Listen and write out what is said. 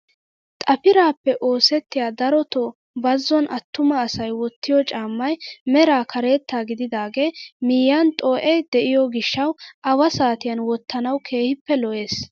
Xafiraappe oosettiyaa darotoo bazon attuma asay wottiyoo caammay meraa karetta gididagee miyiyaan xoo'ee de'iyoo gishshawu awa saatiyaan wottanawu kehippe lo"ees.